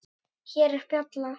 Hér er bjalla.